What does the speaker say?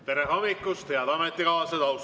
Tere hommikust, head ametikaaslased!